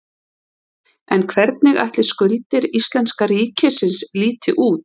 En hvernig ætli skuldir íslenska ríkisins líti út?